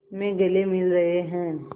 में गले मिल रहे हैं